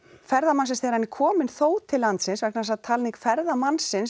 ferðamannsins þegar hann er kominn þó til landsins vegna þess að talning ferðamannsins